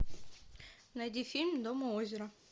найди фильм дом у озера